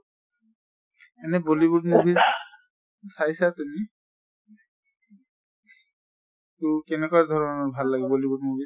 এনে bollywood movies চাইছা তুমি? তʼ কেনেকা ধৰণৰ ভাল লাগে bollywood movie?